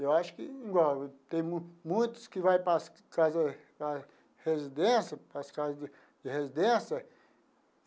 Eu acho que igual tem muitos que vai para as casas a residência para as casa de residência.